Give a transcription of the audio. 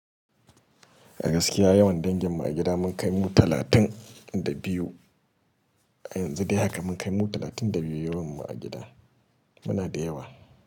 A gaskiya yawan dangin mu a gida mun kai mu talatin da biyu. Yanzu dai haka mun kai mu talatin da biyu yawan mu a gida. Muna da yawa.